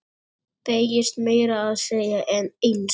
Beygist meira að segja eins!